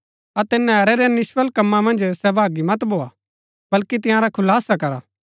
अतै नैहरै रै निष्फल कमां मन्ज सहभागी मत भोआ बल्‍की तंयारा खुलासा करा